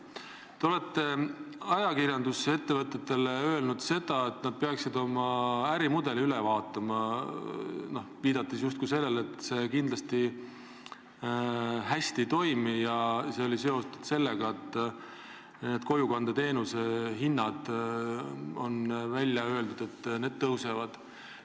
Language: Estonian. Te olete ajakirjanduses ettevõtetele öelnud, et nad peaksid oma ärimudelid üle vaatama, viidates justkui sellele, et kindlasti ei toimi need hästi, ja see oli seotud sellega, et kojukandeteenuse hinnad, nagu on välja öeldud, tõusevad.